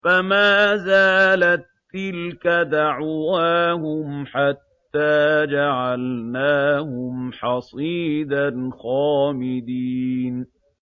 فَمَا زَالَت تِّلْكَ دَعْوَاهُمْ حَتَّىٰ جَعَلْنَاهُمْ حَصِيدًا خَامِدِينَ